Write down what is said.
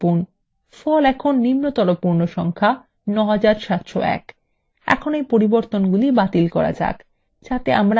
ফল এখন নিম্নতর পূর্ণ সংখ্যা ৯৭০১